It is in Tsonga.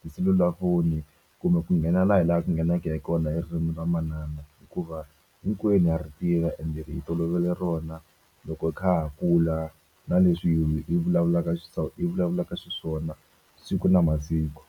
tiselulafoni kumbe ku nghena la hi la ku ngheneke hi kona hi ririmi ra manana hikuva hinkwenu ha ri tiva ende hi tolovele rona loko hi kha ha kula na leswi hi vulavulaka hi vulavulaka swiswona siku na masiku.